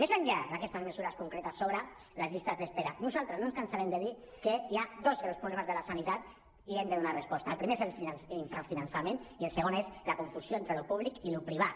més enllà d’aquestes mesures concretes sobre les llistes d’espera nosaltres no ens cansarem de dir que hi ha dos greus problemes de la sanitat i hi hem de donar resposta el primer és l’infrafinançament i el segon és la confusió entre allò públic i allò privat